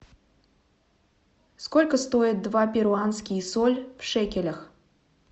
сколько стоит два перуанские соль в шекелях